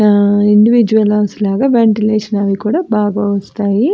ఆ individual house లాగా ventilation కూడా బాగా వస్తాయి.